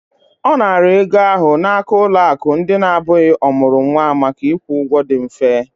Ọ nara ego ahụ n'aka ụlọ akụ ndị na-abụghị ọmụrụ nwa maka ịkwụ ụgwọ dị mfe.